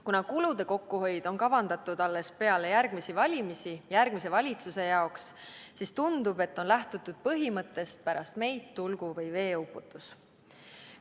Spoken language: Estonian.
Kuna kulude kokkuhoid on kavandatud alles peale järgmisi valimisi, järgmise valitsuse jaoks, siis tundub, et on lähtutud põhimõttest "pärast meid tulgu või veeuputus".